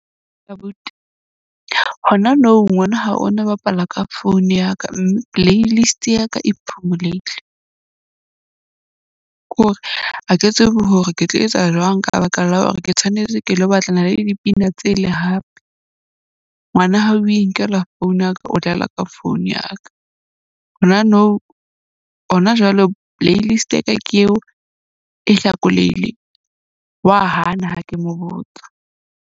Abuti hona nou ngwana hao o na bapala ka phone ya ka. Mme playlist ya ka e phumulehile. Kore ha ke tsebe hore ke tlo etsa jwang ka baka la hore ke tshwanetse ke lo batlana le dipina tse le hape. Ngwana hao o inkela phone ya ka, o dlala ka phone ya ka. Hona nou hona jwalo playlist ya ka ke eo e hlakoleile, wa hana ha ke mo botsa.